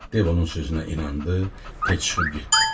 Dev onun sözünə inandı, tez çıxıb getdi.